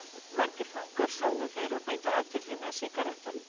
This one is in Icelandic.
Of margir fangar sögðu þeir og beindu athyglinni að sígarettunum.